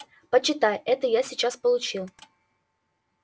прочитай это я сейчас получил